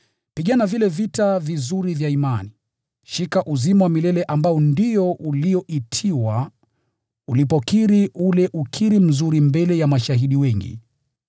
Pigana vile vita vizuri vya imani. Shika uzima wa milele ambao ndio ulioitiwa ulipokiri ule ukiri mzuri mbele ya mashahidi wengi.